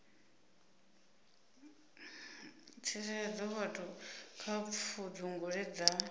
tsireledza vhathu kha pfudzungule dza